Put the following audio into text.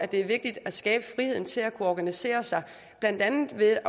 det er vigtigt at skabe friheden til at kunne organisere sig blandt andet ved